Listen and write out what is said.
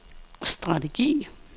strategi